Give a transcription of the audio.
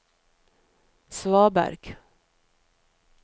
svaberg